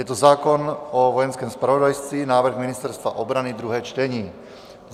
Je to zákon o Vojenském zpravodajství, návrh Ministerstva obrany, druhé čtení.